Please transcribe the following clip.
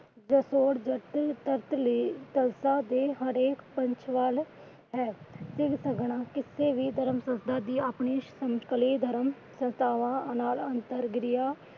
ਸੰਸਥਾ ਦੇ ਆਪਣੇ ਧਰਮ ਸੰਸਥਾਵਾਂ ਨਾਲ ਅੰਤਰ